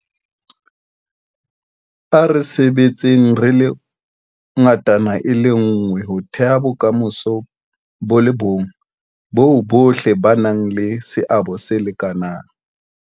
A re sebetseng re le ngatana nngwe ho theha bokamoso bo le bong boo bohle ba nang le seabo se lekanang.